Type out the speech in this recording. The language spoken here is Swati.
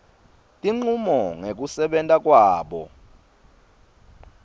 tincumo ngekusebenta kwabo